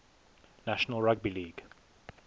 national rugby league